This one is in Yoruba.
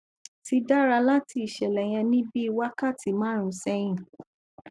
ti dara lati iṣẹlẹ yẹn ni bii wakati marun sẹhin